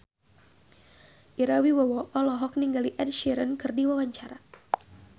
Ira Wibowo olohok ningali Ed Sheeran keur diwawancara